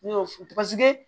Ne y'o fo paseke